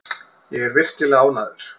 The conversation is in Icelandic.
Ég er virkilega ánægður.